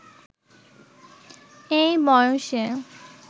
এই বয়সে